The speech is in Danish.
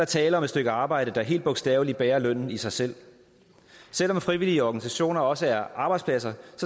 tale om et stykke arbejde der helt bogstaveligt bærer lønnen i sig selv selv om frivillige organisationer også er arbejdspladser